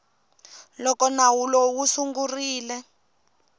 loko nawu lowu wu sungurile